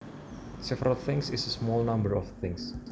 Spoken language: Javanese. Several things is a small number of things